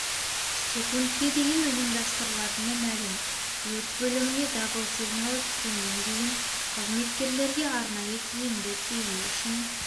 секундке дейін ұйымдастырылатыны мәлім өрт бөліміне дабыл сигналы түскеннен кейін қызметкерлерге арнайы киімді кию үшін